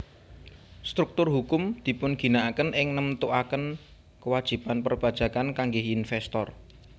Struktur hukum dipunginaaken ing nemtuaken kewajiban perpajakan kangge investor